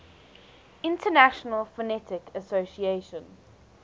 international phonetic association